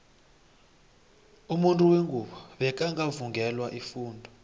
umuntu wengubo bekangaka vungelwa ifundo